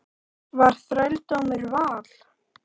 Var þrældómur val?